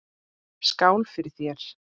Skál fyrir þér!